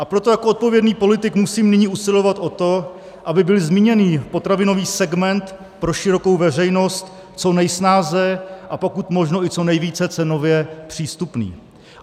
A proto jako odpovědný politik musím nyní usilovat o to, aby byl zmíněný potravinový segment pro širokou veřejnost co nejsnáze a pokud možno i co nejvíce cenově přístupný.